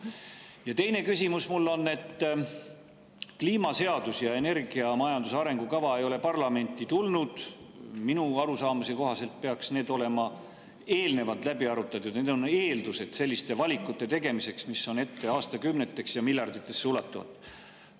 Ja teine küsimus mul on, et kliimaseadus ja energiamajanduse arengukava ei ole parlamenti tulnud, minu arusaamise kohaselt peaks need olema eelnevalt läbi arutatud, see on eeldus selliste valikute tegemiseks, mis on ette aastakümneteks ja miljarditesse ulatuvad.